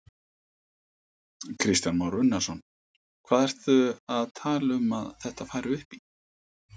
Kristján Már Unnarsson: Hvað ertu að tala um að þetta fari upp í?